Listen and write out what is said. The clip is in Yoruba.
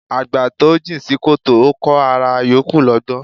Àgbà tó jìn sí kòtò, Ó kọh ará yòókù lọ́gbọ́n